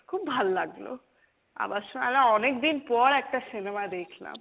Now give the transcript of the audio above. খুব ভাল লাগলো অনেকদিন পর একটা cinema দেখলাম।